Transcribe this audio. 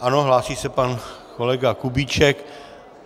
Ano, hlásí se pan kolega Kubíček.